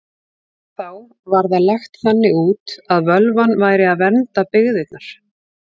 Þá var það lagt þannig út að völvan væri að vernda byggðirnar.